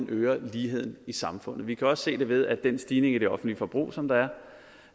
øger ligheden i samfundet vi kan også se det ved at den stigning i det offentlige forbrug som der